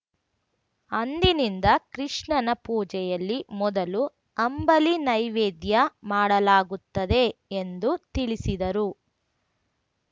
ಅಂದಿನಿಂದ ಕೃಷ್ಣನ ಪೂಜೆಯಲ್ಲಿ ಮೊದಲು ಅಂಬಲಿ ನೈವೈದ್ಯ ಮಾಡಲಾಗುತ್ತದೆ ಎಂದು ತಿಳಿಸಿದರು